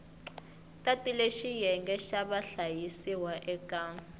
tatile xiyenge xa vahlayisiwa eka